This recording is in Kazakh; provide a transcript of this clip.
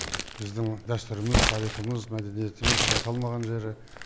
біздің дәстүріміз тарихымыз мәдениетіміз шайқалмаған жері